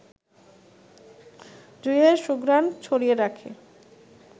জুঁইয়ের সুঘ্রাণ ছড়িয়ে রাখে